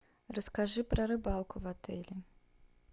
расскажи про рыбалку в отеле